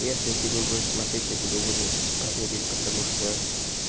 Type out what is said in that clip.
если ты не будешь смотреть я тебе буду спойлерить потому что